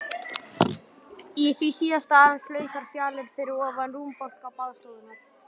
Í því síðasta aðeins lausar fjalir fyrir ofan rúmbálka baðstofunnar.